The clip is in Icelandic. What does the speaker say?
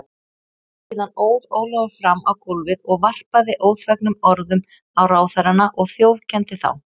Síðan óð Ólafur fram á gólfið og varpaði óþvegnum orðum á ráðherrana og þjófkenndi þá.